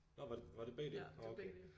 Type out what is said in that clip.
Nå var det var det begge dele? Nå okay